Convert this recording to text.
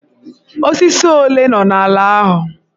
Osisi ole nọ n'ala ahụ?